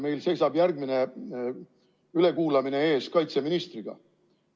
Meil seisab järgmine ülekuulamine ees kaitseministriga.